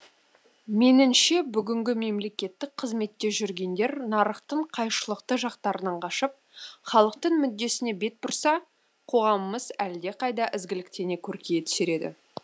меніңше бүгінгі мемлекеттік қызметте жүргендер нарықтың қайшылықты жақтарынан қашып халықтың мүддесіне бет бұрса қоғамымыз әлдеқайда ізгіліктене көркейе түсер еді